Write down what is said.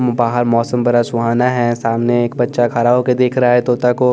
बाहर मौसम बड़ा सुहाना है सामने एक बच्चा खड़ा होकर देख रहा है तोता को--